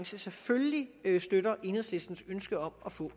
selvfølgelig støtter enhedslistens ønske om at få